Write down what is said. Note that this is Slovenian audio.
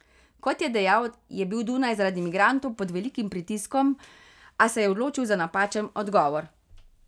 Kot je dejal, je bil Dunaj zaradi migrantov pod velikim pritiskom, a se je odločil za napačen odgovor.